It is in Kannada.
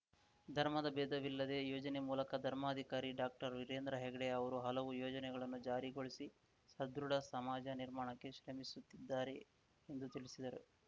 ಧರ್ಮದ ಬೇಧವಿಲ್ಲದೆ ಯೋಜನೆ ಮೂಲಕ ಧರ್ಮಾಧಿಕಾರಿ ಡಾಕ್ಟರ್ವೀರೇಂದ್ರ ಹೆಗ್ಗಡೆ ಅವರು ಹಲವು ಯೋಜನೆಯನ್ನು ಜಾರಿಗೊಳಿಸಿ ಸದೃಢ ಸಮಾಜ ನಿರ್ಮಾಣಕ್ಕೆ ಶ್ರಮಿಸುತ್ತಿದ್ದಾರೆ ಎಂದು ತಿಳಿಸಿದರು